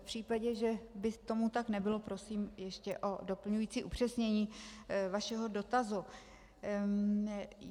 V případě, že by tomu tak nebylo, prosím ještě o doplňující upřesnění vašeho dotazu.